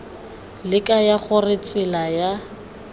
le kaya gore tsela ya